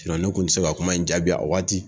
ne tun tɛ se ka kuma in jaabi a waati